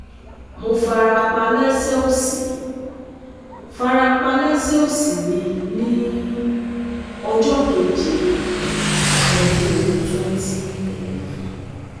Mo farapa lẹsẹ osi farapa lẹsẹ osi mi ni ọjọ Keje, ọdun 2011